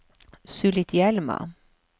Sulitjelma